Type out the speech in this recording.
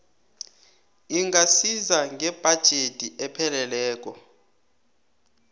ingasiza ngebhajethi epheleleko